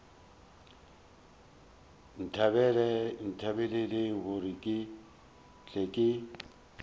nthapelele gore ke tle ke